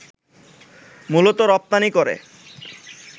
মূলত রপ্তানি করে